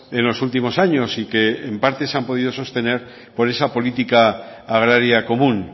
en los últimos años y que en parte se han podido sostener por esa política agraria común